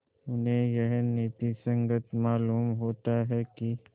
उन्हें यह नीति संगत मालूम होता है कि